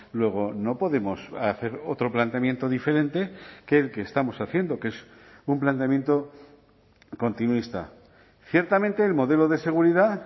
luego no podemos hacer otro planteamiento diferente que el que estamos haciendo que es un planteamiento continuista ciertamente el modelo de seguridad